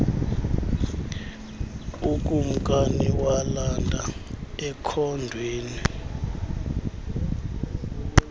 ukumkani walanda ekhondweni